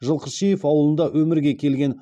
жылқышиев ауылында өмірге келген